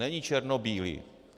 Není černobílý.